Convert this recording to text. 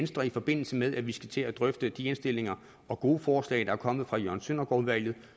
i forbindelse med at vi skal til at drøfte de indstillinger og gode forslag der er kommet fra jørgen søndergaard udvalget